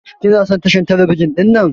Ka/ki na son tashar telebijin dinnan?